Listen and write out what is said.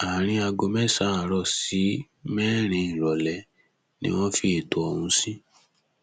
àárín aago mẹsàn àárọ sí mẹrin ìrọlẹ ni wọn fi ẹtọ ọhún sí